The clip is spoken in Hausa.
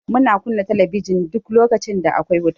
Muna kunna talabijin duk lokacin da akwai wuta.